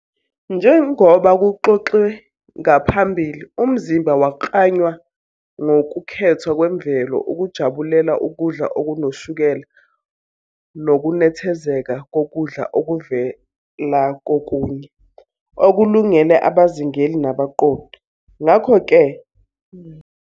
Njengoba kuxoxwe ngaphambili, umzimba waklanywa ngokukhethwa kwemvelo ukujabulela ukudla okunoshukela nokunethezeka kokudla okuvela kokunye, okulungele abazingeli nabaqoqi. Ngakho-ke, ukudla okunoshukela nokukhuluphalisayo emvelweni ngokuvamile akuvamile futhi kumnandi kakhulu ukukudla.